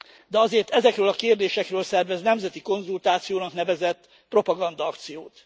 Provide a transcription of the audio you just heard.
De azért ezekről a kérdésekről szervez nemzeti konzultációnak nevezett propagandaakciót.